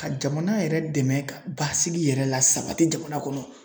Ka jamana yɛrɛ dɛmɛ ka basigi yɛrɛ la sabati jamana kɔnɔ.Ŋ